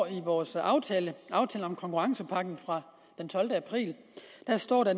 i vores aftale aftale om konkurrencepakken fra den tolvte april